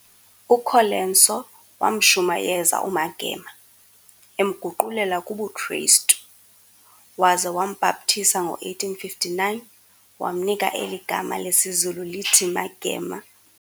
UColenso wamshumayeza uMagema, emguqulela kubuKristu, waza wambhaptiza ngo-1859, wamnika eli gama lesiZulu lithi Magema.